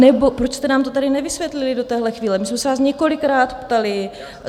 Anebo proč jste nám to tady nevysvětlili do této chvíle, my jsme se vás několikrát ptali?